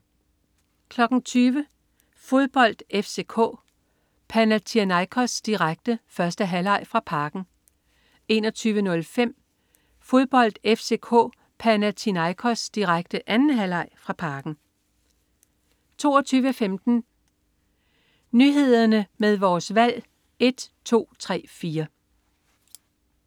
20.00 Fodbold: FCK-Panathinaikos direkte, 1. halvleg fra Parken 21.05 Fodbold: FCK-Panathinaikos direkte, 2. halvleg fra Parken 22.15 Nyhederne med Vores Valg 1 2 3 4